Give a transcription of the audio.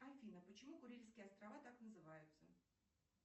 афина почему курильские острова так называются